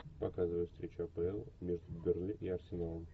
показывай встречу апл между бернли и арсеналом